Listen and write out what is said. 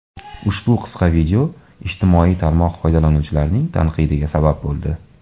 Ushbu qisqa video ijtimoiy tarmoq foydalanuvchilarining tanqidiga sabab bo‘ldi.